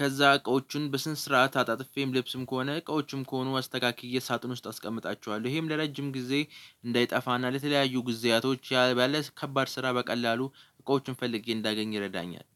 ከዛ እቃዎቹን በስነ ስርዓት አጣጥፌም ልብስም ከሆነ እቃዎችም ከሆኑ አስተካክዬ ሳጥን ውስጥ አስቀምጣችኋለሁ ይሄም ለረጅም ጊዜ እንዳይጠፋና ለተለያዩ ጊዜያቶች ያለ ባለ ከባድ ስራ በቀላሉ እቃዎችን ፈልጌ እንዳገኝ ይረዳኛል